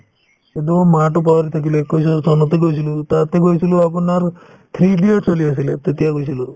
কিন্তু মাহতো পাহৰি থাকিলো একৈশৰ চনতে গৈছিলো তাতে গৈছিলো আপোনাৰ three idiots চলি আছিলে তেতিয়া গৈছিলো